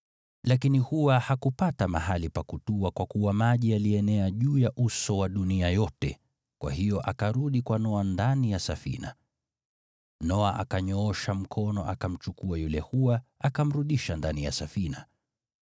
Lakini hua hakupata mahali pa kutua kwa kuwa maji yalienea juu ya uso wa dunia yote, kwa hiyo akarudi kwa Noa ndani ya safina. Noa akanyoosha mkono akamchukua yule hua akamrudisha ndani ya safina.